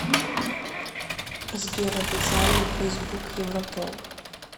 сбер официальный фейсбук европол